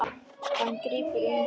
Hann grípur um hana.